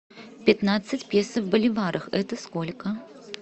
пятнадцать песо в боливарах это сколько